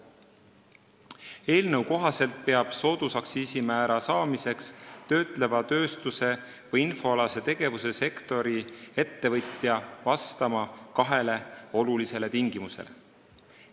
Eelnõu kohaselt peab töötleva tööstuse või infoalase tegevuse sektori ettevõtja soodusaktsiisimäära saamiseks vastama kahele olulisele tingimusele.